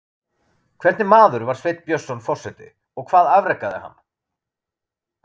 Hvernig maður var Sveinn Björnsson forseti og hvað afrekaði hann?